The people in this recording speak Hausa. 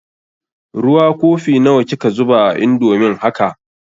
Ruwa kofi nawa kika zuba a indomin haka?